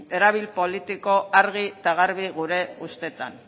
erabilpen politikoa argi eta garbi gure ustez